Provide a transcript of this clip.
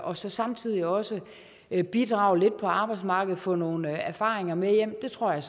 og samtidig også bidrage lidt på arbejdsmarkedet og få nogle erfaringer med hjem det tror jeg